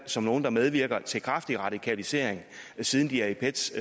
som nogle der medvirker til kraftig radikalisering siden de er i pets